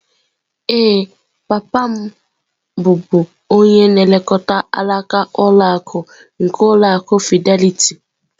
Ee, papa m bụbu onye na-elekọta alaka ụlọ akụ nke ụlọ akụ Fidelity.